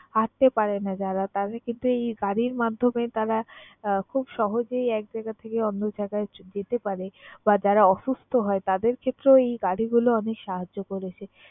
হাঁটতে পারে না যারা তারা কিন্তু এই গাড়ির মাধ্যমে তারা আহ খুব সহজেই এক জায়গা থেকে অন্য জায়গায় যেতে পারে বা যারা অসুস্থ হয় তাদের ক্ষেত্রেও এই গাড়িগুলো অনেক সাহায্য করেছে।